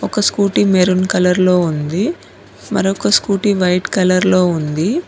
ఒక scooty maroon colour లో ఉంది మరొక స్కూటీ వైట్ కలర్ లో ఉంది.